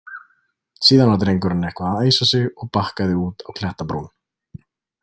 Síðan var drengurinn eitthvað að æsa sig og bakkaði út á klettabrún.